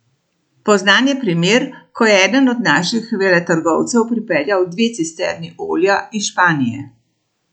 Poznan je primer, ko je eden od naših veletrgovcev pripeljal dve cisterni olja iz Španije.